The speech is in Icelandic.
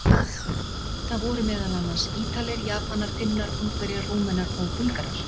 Það voru meðal annars: Ítalir, Japanar, Finnar, Ungverjar, Rúmenar og Búlgarar.